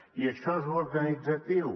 i això és organitzatiu